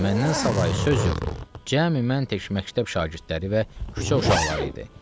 Və məndən savayı söz yox, cəmi məntəq məktəb şagirdləri və küçə uşaqları idi.